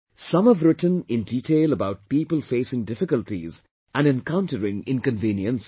Some have written in detail about people facing difficulties and encountering inconveniences